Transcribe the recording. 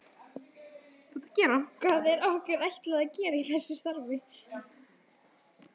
Hvað er okkur ætlað að gera í þessu starfi?